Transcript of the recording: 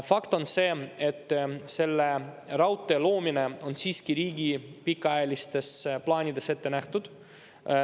Fakt on see, et selle raudtee loomine on siiski riigi pikaajalistes plaanides ette nähtud.